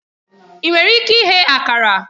Ị nwere ike ighe Akara?